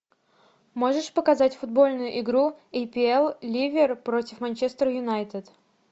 можешь показать футбольную игру апл ливер против манчестер юнайтед